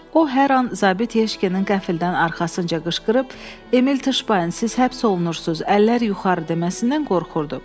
O hər an zabit Yeşkenin qəfildən arxasınca qışqırıb, "Emil Tışbayn, siz həbs olunursuz, əllər yuxarı" deməsindən qorxurdu.